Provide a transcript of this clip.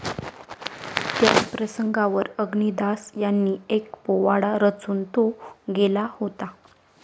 त्या प्रसंगावर अग्निदास यांनी एक पोवाडा रचून तो गेला होता